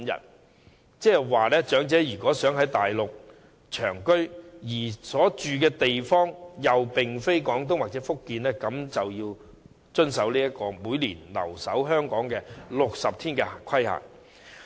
換言之，如果長者想在大陸長期居住，但所住的地方又並非廣東或福建，他們便須遵守每年留港60天的規限。